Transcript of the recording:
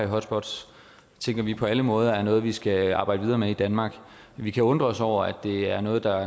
hotspots tænker vi på alle måder er noget vi skal arbejde videre med i danmark vi kan undre os over at det er noget der